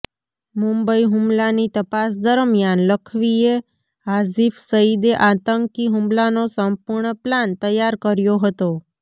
મુંબઈ હુમલાની તપાસ દરમ્યાન લખવીએ હાજીફ સઇદે આતંકી હુમલાનો સંપૂર્ણ પ્લાન તૈયાર કર્યો હતો